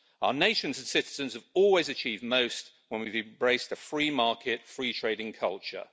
Our nations and citizens have always achieved most when we've embraced a free market free trading culture.